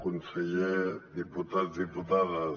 conseller diputats diputades